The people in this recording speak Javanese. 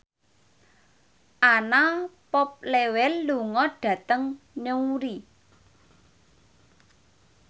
Anna Popplewell lunga dhateng Newry